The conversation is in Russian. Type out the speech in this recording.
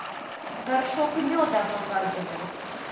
горшок меда показывай